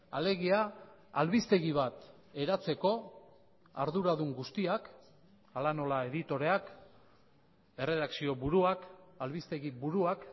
alegia albistegi bat eratzeko arduradun guztiak hala nola editoreak erredakzio buruak albistegi buruak